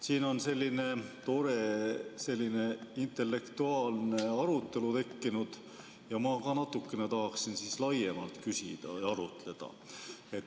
Siin on selline tore intellektuaalne arutelu tekkinud ja ma ka tahaksin natukene laiemalt küsida ja arutleda.